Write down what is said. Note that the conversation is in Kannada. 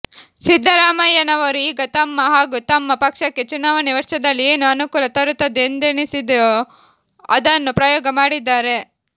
ಸಿದ್ದರಾಮಯ್ಯನವರು ಈಗ ತಮ್ಮ ಹಾಗೂ ತಮ್ಮ ಪಕ್ಷಕ್ಕೆ ಚುನಾವಣೆ ವರ್ಷದಲ್ಲಿ ಏನು ಅನುಕೂಲ ತರುತ್ತದೆ ಎಂದೆನಿಸಿದೆಯೋ ಅದನ್ನು ಪ್ರಯೋಗ ಮಾಡಿದ್ದಾರೆ